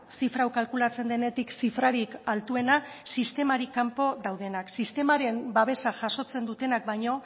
zifra hau kalkulatzen denetik zifrarik altuena sistematik kanpo daudenak sistemaren babesa jasotzen dutenak baino